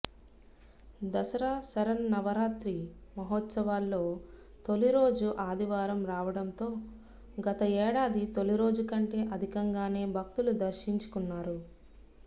దసరా శరన్నవరాత్రి మహోత్సవాల్లో తొలి రోజు ఆదివారం రావటంతో గత ఏడాది తొలి రోజు కంటే అధికంగానే భక్తులు దర్శించుకున్నారు